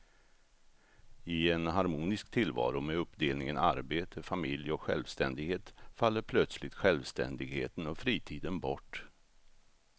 I en harmonisk tillvaro med uppdelningen arbete, familj och självständighet faller plötsligt självständigheten och fritiden bort.